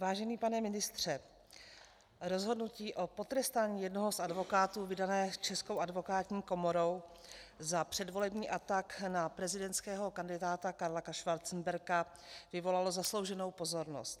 Vážený pane ministře, rozhodnutí o potrestání jednoho z advokátů vydané Českou advokátní komorou za předvolební atak na prezidentského kandidáta Karla Schwarzenberga vyvolalo zaslouženou pozornost.